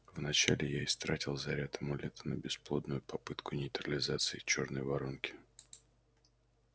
вначале я истратил заряд амулета на бесплодную попытку нейтрализации чёрной воронки